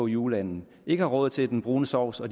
juleand ikke har råd til den brune sovs og